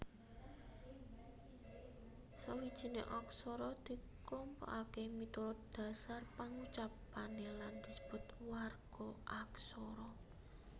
Sawijining aksara diklompokaké miturut dhasar pangucapané lan disebut warga aksara